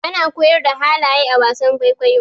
ana koyar da halaye a wasan kwaikwayo